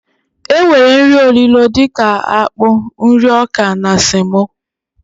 E nwere nri olilo dika akpụ, nri ọkà na semo.